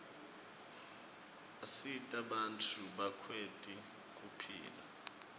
asita bantfu bakwati kuphila